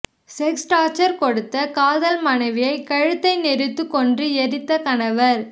sex torture கொடுத்த காதல் மனைவியை கழுத்தை நெறித்துக் கொன்று எரித்த கணவர்